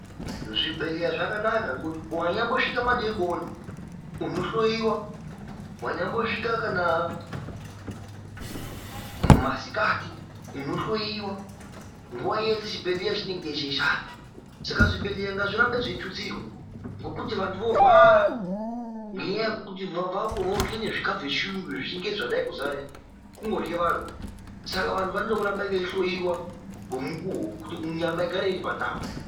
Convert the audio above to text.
Zvibhedhleya zvakanaka ngekuti wanyambosvika madekoni unohloyiwa, wanyambosvika kana masikati unohloyiwa, nguwa yeshe chibhedhleya chinenge cheishanda. Saka zvibhedhleya ngazvirambe zveitutsirwa ngekuti vantu vorwara ngenyaya yekuti vorye zvikafu zvechiyungu vechingezi zvadai kuzara izvi kungorye vantu anaya saka vantu vanode kuramba veihloyiwa ngemukuwo kuti nyama igare iri pandau.